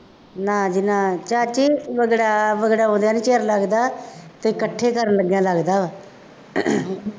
ਨਾ ਜੀ ਨਾ ਜੀ ਚਾਚੀ ਵਿਗੜਾ ਵਿਗੜਾਉਂਦਿਆਂ ਨਹੀਂ ਚਿਰ ਲੱਗਦਾ ਅਤੇ ਇਕੱਠੇ ਕਰਨ ਲੱਗਿਆਂ ਲੱਗਦਾ ਵਾ,